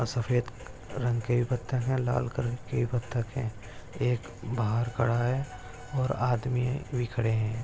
सफेद रंग के भी बत्तक है लाल कलर के भी बत्तक है एक बाहर खड़ा है और आदमी भी खड़े है।